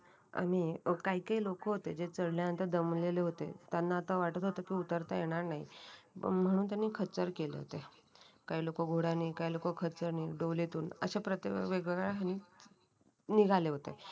आणि काही काही लोक होते जे चढल्यानंतर दमलेले होते त्यांना आता वाटत होतं की उतरता येणार नाही म्हणून त्यांनी खचर केले होते. काही लोक घोड्याने काही लोकं खचर ने डोलीतून अशा प्रत्येक वेगवेगळ्या निघाले होते.